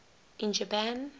in japan